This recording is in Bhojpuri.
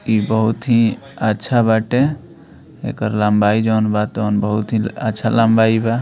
इ बहुत हीं अच्छा बाटे एकर लम्बाई जउन बा तउन बहुत ही अच्छा लम्बाई बा।